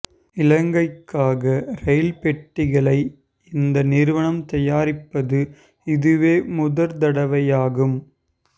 இலங்கைக்காக rail பெட்டிகளை இந்த நிறுவனம் தயாரிப்பது இதுவே முதற்தடவையாகும்